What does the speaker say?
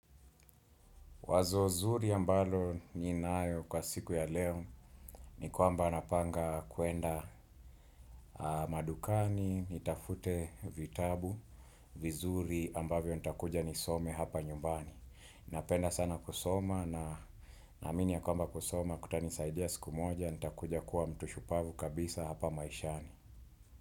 Wazo zuri ambalo ninayo kwa siku ya leo ni kwamba napanga kuenda madukani, nitafute vitabu, vizuri ambavyo nitakuja nisome hapa nyumbani. Napenda sana kusoma naamini ya kwamba kusoma kutanisaidia siku moja nitakuja kuwa mtu shupavu kabisa hapa maishani.